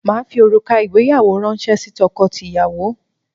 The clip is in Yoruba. Màá fi òrùka ìgbéyàwó ránṣẹ́ sí tọkọtìyàwó